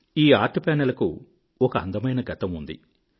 ఈ art panel కు ఒక అందమైన గతం ఉంది